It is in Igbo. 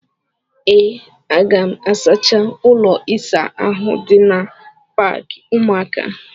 Ee, aga m asacha ụlọ ịsa ahụ dị na paakị ụmụaka.